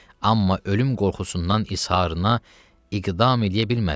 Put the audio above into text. Amma ölüm qorxusundan izharına iqdam eləyə bilmədi.